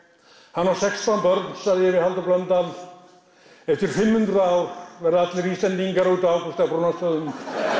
hann á sextán börn sagði ég við Halldór Blöndal eftir fimm hundruð ár verða allir Íslendingar undan Ágústi frá Brúnastöðum